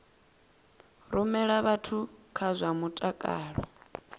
rumela vhathu kha zwa mutakalo